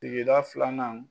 sigida filanan.